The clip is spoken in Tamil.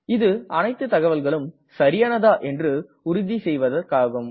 இது அனைத்து தகவல்களும் சரியானதா என்று உறுதி செய்வதற்காகும்